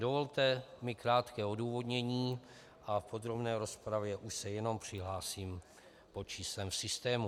Dovolte mi krátké odůvodnění a v podrobné rozpravě už se jenom přihlásím pod číslem systému.